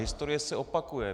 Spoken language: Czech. Historie se opakuje.